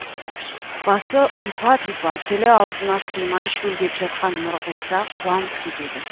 басы ұйпа тұйпа тілі аузына сыймай шөлдеп жатқан нұрғиса қуанып кетеді